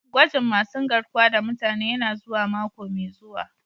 Gwajin masun garkuwa da mutane yana zuwa mako mai zuwa.